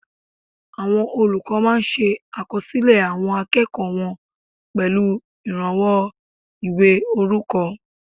Àwọn olùkọ́ máa ṣe àkọsílẹ̀ àwọn akẹ́kọ̀ọ́ wọn pẹ̀lú ìrànwọ́ ìwé orúkọ